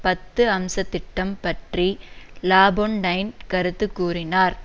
பத்து அம்சத்திட்டம் பற்றி லாபொன்டைன் கருத்து கூறினார்